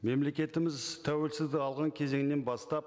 мемлекетіміз тәуелсіздік алған кезеңінен бастап